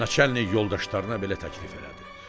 Naçallnik yoldaşlarına belə təklif elədi: